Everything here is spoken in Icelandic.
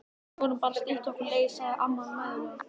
Við vorum bara að stytta okkur leið sagði amma mæðulega.